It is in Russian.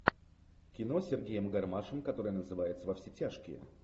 кино с сергеем гармашем которое называется во все тяжкие